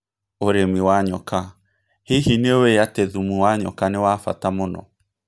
ũrĩmi wa njoka: Hihi nĩ ũĩ atĩ thumu wa nyoka nĩ wa bata mũno?